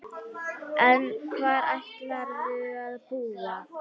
En hvar ætlarðu að búa?